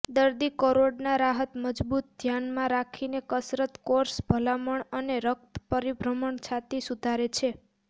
દર્દી કરોડના રાહત મજબૂત ધ્યાનમાં રાખીને કસરત કોર્સ ભલામણ અને રક્ત પરિભ્રમણ છાતી સુધારે છે